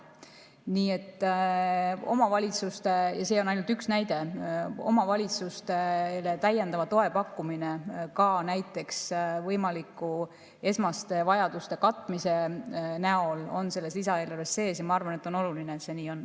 Nii et omavalitsustele – ja see on ainult üks näide – täiendava toe pakkumine ka näiteks võimalike esmaste vajaduste katmise näol on selles lisaeelarves sees, ja ma arvan, et on oluline, et see nii on.